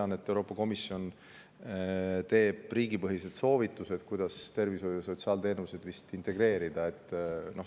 Ma tean, et Euroopa Komisjon teeb riigipõhised soovitused, kuidas tervishoiu- ja sotsiaalteenuseid integreerida.